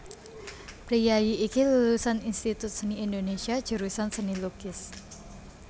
Priyayi iki lulusan Institut Seni Indonésia jurusan Seni Lukis